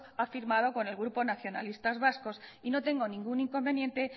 ha firmado con el grupo nacionalistas vascos y no tengo ningún inconveniente